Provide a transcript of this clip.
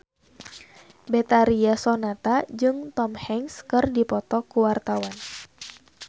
Betharia Sonata jeung Tom Hanks keur dipoto ku wartawan